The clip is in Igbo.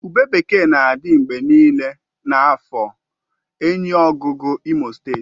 Ube bekee na-adị mgbe niile na afor enyiogugu imo steeti